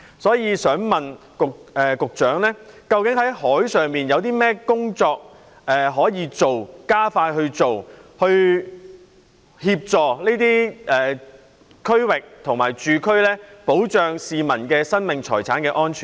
就此，我想請問局長，政府在海上有甚麼工作可以做，可否加快做，以協助這些區域的居民，從而保障市民生命財產的安全呢？